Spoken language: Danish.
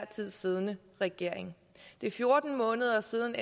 tid siddende regering det er fjorten måneder siden